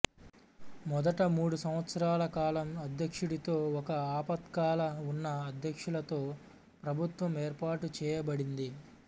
మొదట మూడు సంవత్సరాల కాలం అధ్యక్షుడితో ఒక ఆపత్కాల ఉన్న అధ్యక్షులతో ప్రభుత్వం ఏర్పాటు చేయబడింది